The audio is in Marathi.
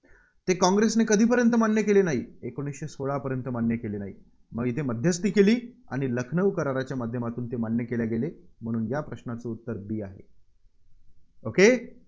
ते काँग्रेसने कधीपर्यंत मान्य केले नाहीत? एकोणीसशे सोळापर्यंत मान्य केले नाहीत. मग इथे मध्यस्थी केली आणि लखनऊ कराराच्या माध्यमातून ते मान्य केले गेले म्हणून या प्रश्नाचे उत्तर b आहे. okay